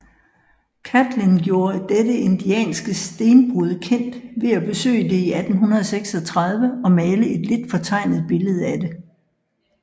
Catlin gjorde dette indianske stenbrud kendt ved at besøge det i 1836 og male et lidt fortegnet billede af det